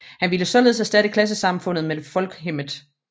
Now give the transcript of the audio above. Han ville således erstatte klassesamfundet med Folkhemmet